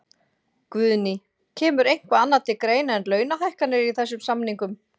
Guðný: Kemur eitthvað annað til greina en launahækkanir í þessum samningum?